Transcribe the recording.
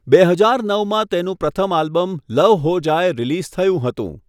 બે હજાર નવમાં તેનું પ્રથમ album 'love Ho Jaye' release થયું હતું.